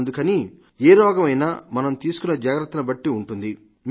అందుకని ఏ రోగమైన మనం తీసుకునే జాగ్రత్తల్ని బట్టు ఉంటుంది